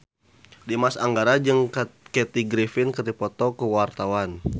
Dimas Anggara jeung Kathy Griffin keur dipoto ku wartawan